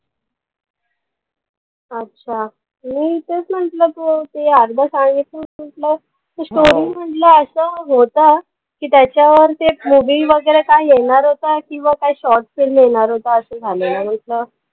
अच्छा. मी तेच म्हणलं. तू ते अर्धं सांगितलंस म्हणलंस. ते story म्हणलं असं होता, की त्याच्यावर ते movie वगैरे काही येणार होतं. किंवा काय short film येणार होता असं झालेलं म्हणलं.